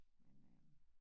Men øh